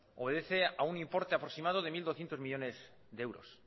obedece a un importe aproximado de mil doscientos millónes de euros